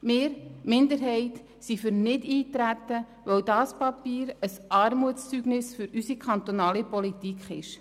Die Minderheit ist für Nichteintreten, weil dieses Papier ein Armutszeugnis für unsere kantonale Politik ist.